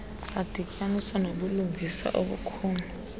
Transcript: adityaniswa nobulungisa obukhulu